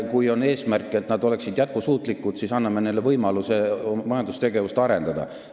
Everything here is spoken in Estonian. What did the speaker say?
Kui on eesmärk, et nad oleksid jätkusuutlikud, siis anname neile parem võimaluse majandustegevust arendada.